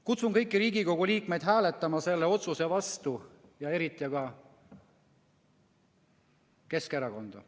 Kutsun kõiki Riigikogu liikmeid hääletama selle otsuse vastu, eriti aga Keskerakonda.